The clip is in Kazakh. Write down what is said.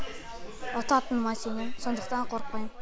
ұтатыныма сенемін сондықтан қорықпаймын